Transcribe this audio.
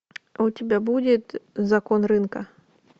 у тебя будет закон рынка